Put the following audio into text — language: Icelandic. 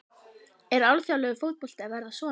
Er alþjóðlegur fótbolti að verða svona?